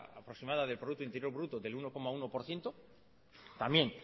aproximada del producto interior bruto del uno coma uno por ciento también